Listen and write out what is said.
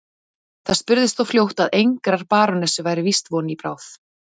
Það spurðist þó fljótt að engrar barónessu væri víst von í bráð.